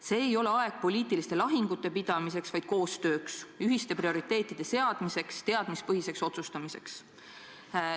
See ei ole aeg poliitiliste lahingute pidamiseks, vaid koostööks, ühiste prioriteetide seadmiseks, teadmispõhiseks otsustamiseks.